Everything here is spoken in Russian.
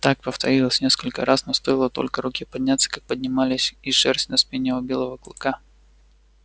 так повторилось несколько раз но стоило только руке подняться как поднималась и шерсть на спине у белого клыка